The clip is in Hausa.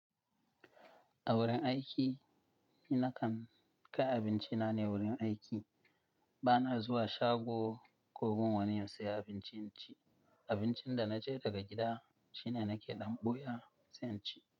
A wurin aiki ni nakan kai abinci na ne wurin aiki. Ba na zuwa shago ko gun wani in sayi abinci in ci. Abincin da na je daga gida shine nake da buya sai in ci.